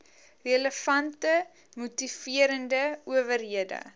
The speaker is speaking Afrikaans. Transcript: relevante moniterende owerhede